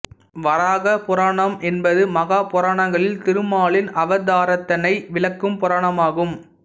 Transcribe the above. வராக புராணம் என்பது மகாபுராணங்களில் திருமாலின் அவதாரத்தினை விளக்கும் புராணமாகும்